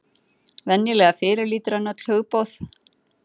Venjulega fyrirlítur hann öll hugboð.